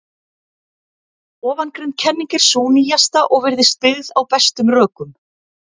Ofangreind kenning er sú nýjasta og virðist byggð á bestum rökum.